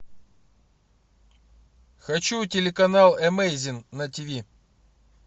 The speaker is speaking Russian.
хочу телеканал эмейзинг на тв